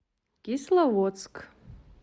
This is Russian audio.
кисловодск